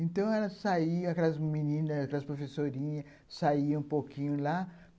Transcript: Então, elas saíam, aquelas meninas, aquelas professorinhas, saíam um pouquinho lá.